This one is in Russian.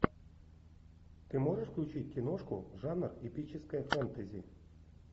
ты можешь включить киношку жанр эпическое фэнтези